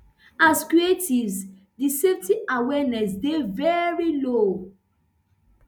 as creatives di safety awareness dey veri low